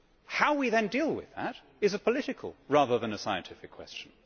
How we then deal with that is a political, rather than a scientific, question.